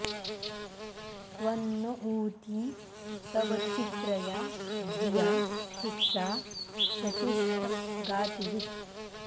त्वं न॑ ऊ॒ती तव॑ चि॒त्रया॑ धि॒या शिक्षा॑ शचिष्ठ गातु॒वित्